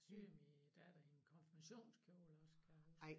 Syede min datter en konfirmationskjole også kan jeg huske